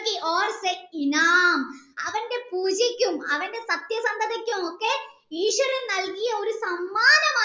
അവൻ്റെ പൂജയ്ക്കും അവൻ്റെ സത്യസന്ധതക്കും ഒക്കെഈശ്വരൻ നൽകിയ ഒരു സമ്മാനമാണ്